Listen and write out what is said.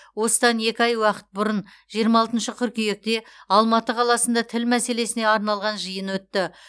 осыдан екі ай уақыт бұрын жиырма алтыншы қыркүйекте алматы қаласында тіл мәселесіне арналған жиын өтті